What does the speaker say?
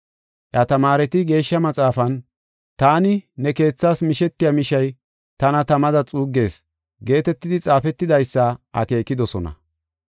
Iya tamaareti Geeshsha Maxaafan, “Taani ne keethas mishetiya mishay tana tamada xuuggees” geetetidi xaafetidaysa akeekidosona.